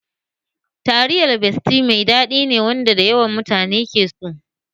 Taliyar besti mai daɗi ne wanda mutane da yawa ke so